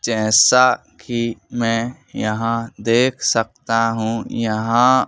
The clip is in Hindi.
जैसा कि मैं यहां देख सकता हूंयहाँ--